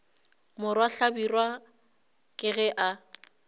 morwa hlabirwa ke ge a